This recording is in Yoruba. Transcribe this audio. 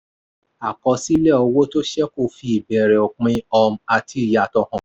àkọsílẹ̀ owó tó ṣẹ̀kù fi ìbẹ̀rẹ̀ òpin um àti ìyàtọ̀ hàn.